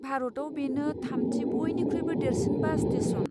भारतआव बेनो थामथि बयनिख्रुइबो देरसिन बास स्टेसन।